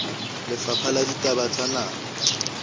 lefapha la ditaba tsa naha